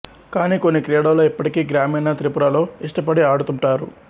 కానీ కొన్ని క్రీడలు ఇప్పటికీ గ్రామీణ త్రిపురలో ఇష్టపడి ఆడుతుంటారు